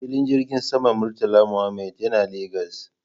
Filin jirgin saman Murtala Muhammad yana Legas